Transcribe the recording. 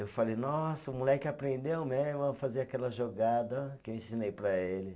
Eu falei, nossa, o moleque aprendeu mesmo a fazer aquela jogada que eu ensinei para ele.